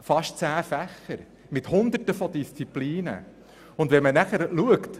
An der Schule werden fast zehn Fächer mit Hunderten von Disziplinen unterrichtet.